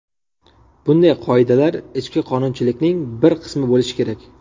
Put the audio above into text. Bunday qoidalar ichki qonunchilikning bir qismi bo‘lishi kerak.